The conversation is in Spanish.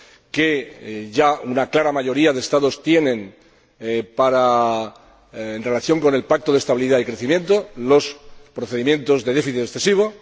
que ya una clara mayoría de Estados tienen en relación con el Pacto de estabilidad y crecimiento, los procedimientos de déficit excesivo.